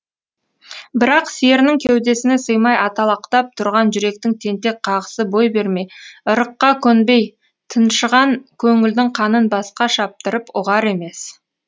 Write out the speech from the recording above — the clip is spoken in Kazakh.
бірақ серінің кеудесіне сыймай аталақтап тұрған жүректің тентек қағысы бой бермей ырыққа көнбей тыншыған көңілдің қанын басқа шаптырып ұғар емес